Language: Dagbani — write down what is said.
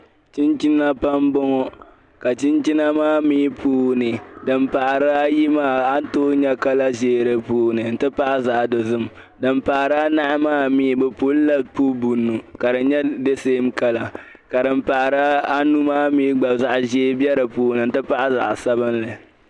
chinchina pam n bɔŋɔ ka chinchina maa mii puuni din pahiri ayi maa a ni tooi nya kala ʒeei di puuni nti pahi zaɣ'dozim din pahiri anahi maa mii bɛ pulila pubu bunu ka di nyɛ de sem kala ka din pahiri anu maa mii gba zaɣ'ʒeei be di puuni nti pahi zaɣ'sabinli.